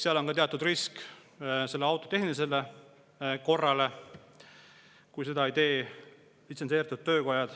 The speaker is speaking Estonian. Seal on ka teatud risk auto tehnilisele korrale, kui seda ei tee litsentseeritud töökojad.